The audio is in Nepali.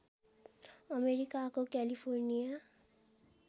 अमेरिकाको क्यालिफोर्निया